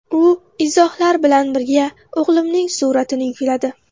U izohlar bilan birga o‘g‘limning suratini yukladi.